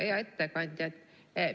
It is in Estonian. Hea ettekandja!